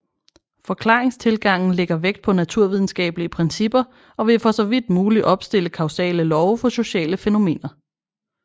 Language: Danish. Forklaringstilgangen lægger vægt på naturvidenskabelige principper og vil for så vidt muligt opstille kausale love for sociale fænomener